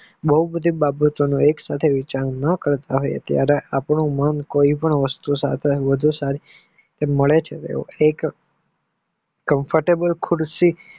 બોવ બધી બાબતોને એક સાથે ઉંચાઈ ન કરતા હોય આપણા મન કોઈ પણ વસ્તુ સાથે મળે છે એક Comfortable ખુરસી